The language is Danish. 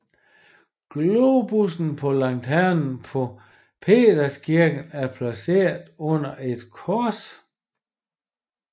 Globussen på lanternen på Peterskirken er placeret under et kors